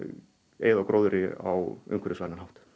eyða gróðri á umhverfisvænan hátt